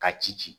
Ka ci